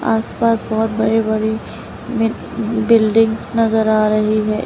आसपास बहुत बड़े बड़े बिल्डिंग नजर आ रही हैं।